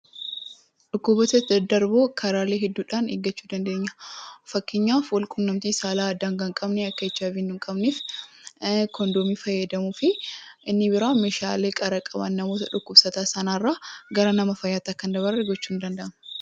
Dhukkuboota daddarboo karaalee hedduudhaan eeggachuu dandeenya. Fakkeenyaaf walquunnamtii daangaa hin qabne akka HIV nun qabne koondoomii fayyadamuu fi meeshaalee qara qaban walirraa fuudhanii fayyadamuu dhabuun nama dhukkubsataarra gara nama fayyatti akka hin dabarre gochuun ni danda'ama.